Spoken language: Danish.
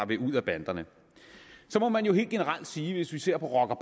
vil ud af banderne så må man jo helt generelt sige hvis vi ser på rocker og